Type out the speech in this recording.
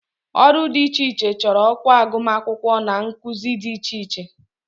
Ọrụ dị iche iche chọrọ ọkwa agụmakwụkwọ na nkuzi dị iche iche